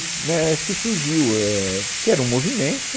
Né acho que surgiu eh, que era um movimento.